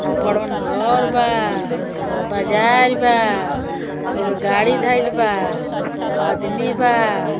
खुब बड़हन घर बा। बाजार बा। ओइमा गाड़ी धईल बा। आदमी बा।